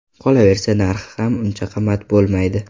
Qolaversa, narxi ham uncha qimmat bo‘lmaydi.